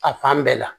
A fan bɛɛ la